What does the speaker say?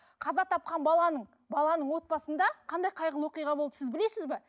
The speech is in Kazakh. қаза тапқан баланың баланың отбасында қандай қайғылы оқиға болды сіз білесіз бе